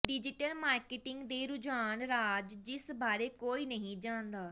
digital marketing ਦੇ ਰੁਝਾਨ ਰਾਜ਼ ਜਿਸ ਬਾਰੇ ਕੋਈ ਨਹੀਂ ਜਾਣਦਾ